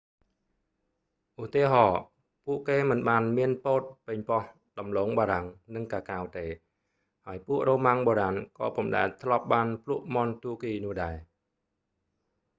ឧទាហរណ៍ ពួកគេមិនបានមានពោត ប៉េងប៉ោះ ដំឡូងបារាំង និងកាកាវទេ ហើយពួក រ៉ូម៉ាំងបុរាណក៏ពុំដែលធ្លាប់បានភ្លក់មាន់ទួរគីនោះដែរ